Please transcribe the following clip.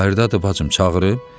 Bayırdadır bacım, çağırıb?